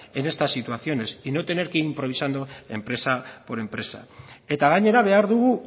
en estas situaciones y no tener que ir improvisando empresa por empresa eta gainera behar dugu